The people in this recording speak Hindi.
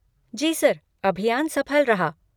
जी सर, अभियान सफल रहा।